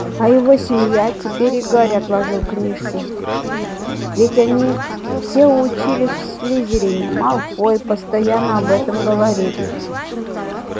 а его семья теперь и гарри отложил книжки ведь они все учились в слизерине малфой постоянно об этом говорит